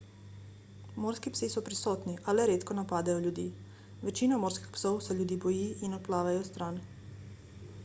morski psi so prisotni a le redko napadejo ljudi večina morskih psov se ljudi boji in odplavajo stran